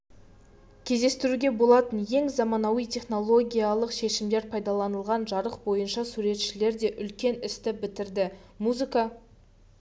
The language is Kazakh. кездестіруге болатын ең заманауи технологиялық шешімдер пайдаланылған жарық бойынша суретшілер де үлкен істі бітірді музыка